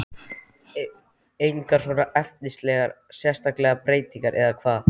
Gunnar Atli: Engar svona efnislegar sérstakar breytingar eða hvað?